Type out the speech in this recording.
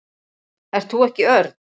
Ert þú ekki Örn?